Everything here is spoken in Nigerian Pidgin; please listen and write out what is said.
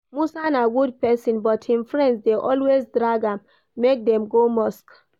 Musa na good person but him friends dey always drag am make dem go mosque